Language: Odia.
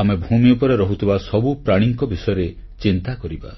ଆମେ ଭୂମି ଉପରେ ରହୁଥିବା ସବୁ ପ୍ରାଣୀଙ୍କ ବିଷୟରେ ଚିନ୍ତା କରିବା